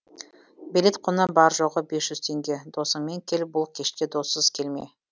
билет құны бар жоғы бес жүз теңге досыңмен кел бұл кешке доссыз келме